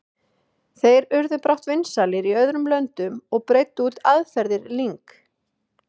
Þeir urðu brátt vinsælir í öðrum löndum og breiddu út aðferðir Ling.